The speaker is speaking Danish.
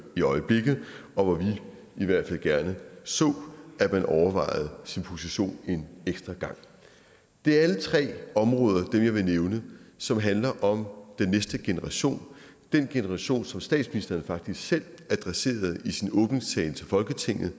i øjeblikket og hvor vi i hvert fald gerne så at man overvejede sin position en ekstra gang det er alle tre områder dem jeg vil nævne som handler om den næste generation den generation som statsministeren faktisk selv adresserede i sin åbningstale til folketinget